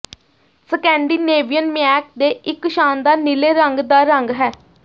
Scandinavian mink ਦੇ ਇੱਕ ਸ਼ਾਨਦਾਰ ਨੀਲੇ ਰੰਗ ਦਾ ਰੰਗ ਹੈ